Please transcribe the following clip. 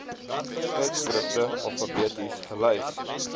tydskrifte alfabeties gelys